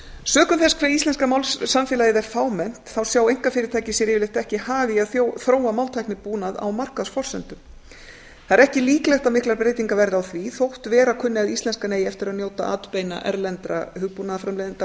sökum þess hve íslenska málsamfélagið er fámennt sjá einkafyrirtæki sér yfirleitt ekki hag í að þróa máltæknibúnað á markaðsforsendum ekki er líklegt að miklar breytingar verði á því þótt vera kunni að íslenskan eigi eftir að njóta atbeina erlendra hugbúnaðarframleiðenda á máltæknisviði